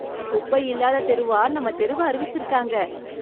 குப்பை இல்லாத தெருவா நம்ம தெருவை அறிவிச்சிருக்காங்க.